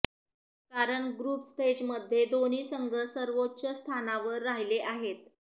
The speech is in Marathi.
कारण ग्रुप स्टेजमध्ये दोन्ही संघ सर्वोच्च स्थानावर राहिले आहेत